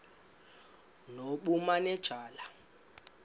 nobumanejala